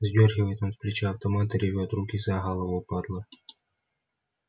сдёргивает он с плеча автомат и ревёт руки за голову падла